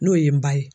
N'o ye n ba ye